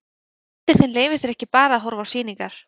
En frændi þinn leyfir þér ekki bara að horfa á sýningar.